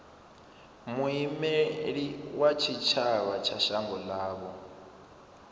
muimeli wa tshitshavha wa shango ḽavho